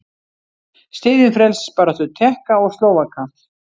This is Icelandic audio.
Styðjum frelsisbaráttu Tékka og Slóvaka.